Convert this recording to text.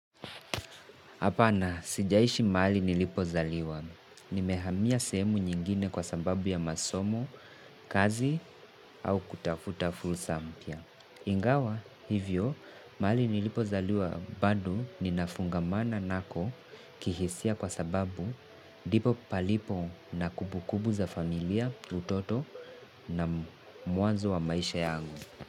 Hapana, sijaishi mali nilipo zaliwa. Nimehamiya semu nyingine kwa sababu ya masomo, kazi, au kutafuta fulsa mpia. Ingawa, hivyo, mahali nilipozaliwa bado ninafungamana nako kihisia kwa sababu ndipo palipo na kumbukumbu za familia, utoto na muanzo wa maisha yagu.